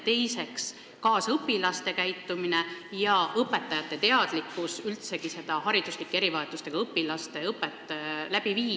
Teiseks, kaasõpilaste käitumine ja õpetajate vähesed teadmised hariduslike erivajadustega õpilaste õppe korraldamisest.